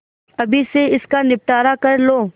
अभी से इसका निपटारा कर लो